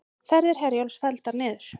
Ferðir Herjólfs felldar niður